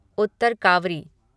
Uttar cowrie